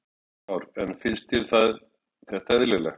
Kristján Már: En finnst þér þetta eðlilegt?